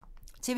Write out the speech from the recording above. TV 2